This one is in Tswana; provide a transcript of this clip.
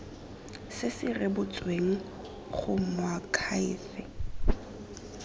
se se rebotsweng go moakhaefe